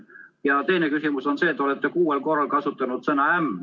Ja teine küsimus on selle kohta, et te olete kuuel korral kasutanud sõna "äm".